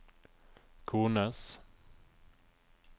kones